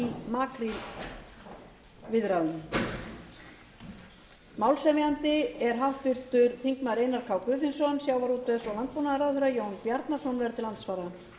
um stöðuna í makrílviðræðunum málshefjandi er háttvirtur þingmaður einar k guðfinnsson sjávarútvegs og landbúnaðarráðherra jón bjarnason verður til andsvara